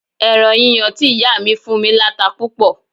Ẹran yíyan tí ìyá mi fún mí láta púpọ̀